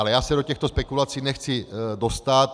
Ale já se do těchto spekulací nechci dostat.